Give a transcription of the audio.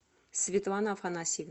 светлана афанасьева